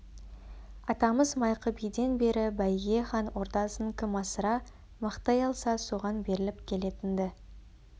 атамыз майқы биден бері бәйге хан ордасын кім асыра мақтай алса соған беріліп келетін-ді